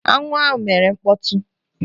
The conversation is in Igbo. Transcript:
Aṅụ ahụ mere mkpọtụ.